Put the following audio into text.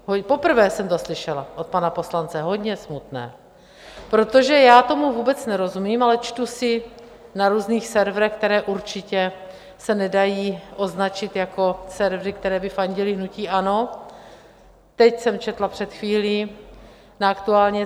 Poprvé jsem to slyšela od pana poslance - hodně smutné, protože já tomu vůbec nerozumím, ale čtu si na různých serverech, které určitě se nedají označit jako servery, které by fandily hnutí ANO - teď jsem četla před chvílí na Aktuálně.